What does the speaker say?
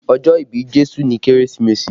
Ọjọ́ ìbí Jésù ni Kérésìmesì